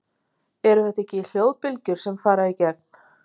Eru þetta ekki hljóðbylgjur sem fara í gegn?